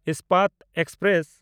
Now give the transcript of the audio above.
Ispat express